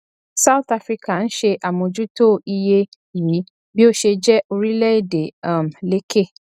south africa ń ṣe àmójútó iye yìí bí ó ṣe jẹ orílẹ èdè um lékè